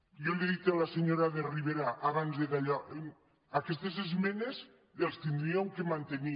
jo li he dit a la senyora de rivera abans de dallò aquestes esmenes les hauríem de mante·nir